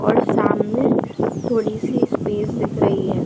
और सामने थोड़ी-सी स्पेस दिख रही हैं।